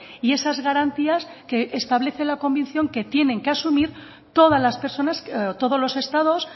y esas garantías que establece la convención que tienen que asumir todas las personas todos los estados